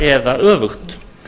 eða öfugt